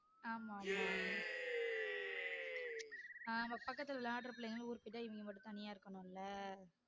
ஆமா ஆமா ஆமா பக்கத்துல வெளாடுற பிள்ளைங்களும் ஊருக்கு போயிட்டா இவிங்க மட்டும் தனியா இருக்கனும்ல